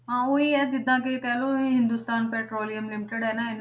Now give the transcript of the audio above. ਹਾਂ ਉਹੀ ਹੈ ਜਿੱਦਾਂ ਕਿ ਕਹਿ ਲਓ ਹਿੰਦੁਸਤਾਨ ਪੈਟਰੋਲੀਅਮ limited ਹੈ ਨਾ,